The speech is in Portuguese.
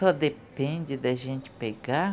Só depende da gente pegar